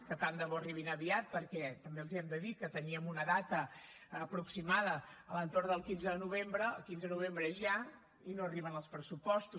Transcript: que tant de bo arribin aviat perquè també els hem de dir que teníem una data aproximada a l’entorn del quinze de novembre el quinze de novembre és ja i no arriben els pressupostos